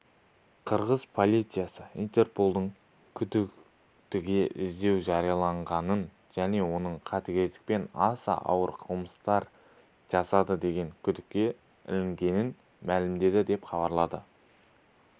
қырғыз полициясы интерполдың күдіктіге іздеу жариялағанын және оның қатыгездікпен аса ауыр қылмыстар жасады деген күдікке ілінгенін мәлімдеді деп хабарлады